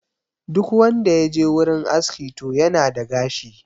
Duk wanda ya je wurin aski to yana da gashi